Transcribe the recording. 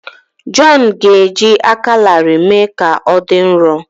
Jọn ga-eji aka larịị mee ka ọ dị nro.